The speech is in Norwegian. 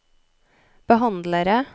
behandlere